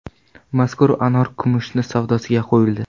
Mazkur anor kimoshdi savdosiga qo‘yildi.